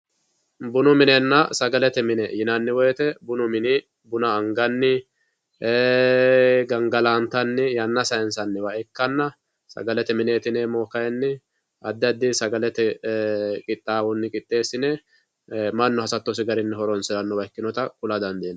Bunu minenna sagalete mine yinanni woyite bunu mini buna anganni gangalantanni sayinisanniwa ikkanna sagalete mini kayinni adi adi sagalete qixxaawonni qixxeesinne manu hasatosi gede horonsiranotta kula dandinayi